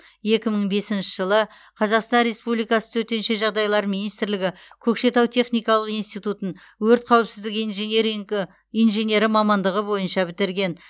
екі мың бесінші жылы қазақстан республикасы төтенше жағдайлар министрлігі көкшетау техникалық институтын өрт қауіпсіздігі инженері мамандығы бойынша бітірген